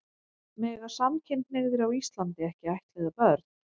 Mega samkynhneigðir á Íslandi ekki ættleiða börn?